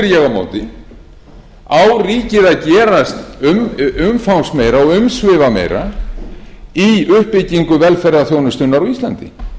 ég á móti á ríkið að gera umfangsmeira og umsvifameira í uppbyggingu velferðarþjónustunnar á íslandi